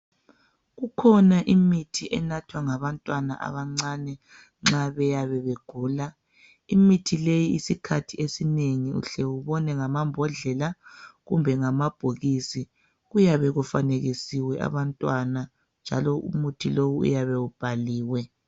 Kukhona imithi enathwa ngabantwana abancane nxa beyabe begula. Imithi le isikhathi esinengi uhle ubone ngamambodlela kumbe amabhokisi. Kuyabe kufanekisiwe abantwana njalo umuthi lowu uyabe ubhaliwe.